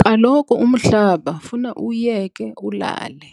Kaloku umhlaba funa uwuyeke ulale.